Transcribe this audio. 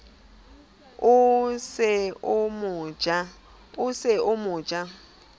o se o mo ja